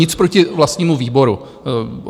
Nic proti vlastnímu výboru.